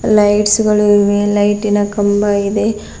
Lights ಗಳು ಇವೆ ಲೈಟಿ ನ ಕಂಬ ಇದೆ.